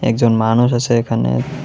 একজন মানুষ আছে এখানে।